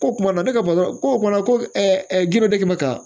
Ko kuma na ne ka ko ɛ ka